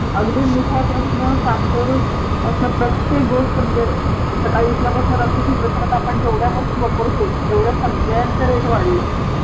अगदी मिठापासन साखर पासन प्रत्येक गोष्ट म्हणजे सकाळी उठल्यापासून रात्री झोपेपर्यंत आपण जेवढ्या गोष्टी वापरतो तेवढ्या सगळ्यांचे रेट वाढलेत